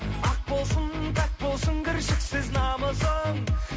ақ болсын пәк болсын кіршіксіз намысың